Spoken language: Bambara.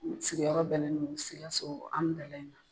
N sigiyɔrɔ bɛnnen don sikaso amudaliyi ma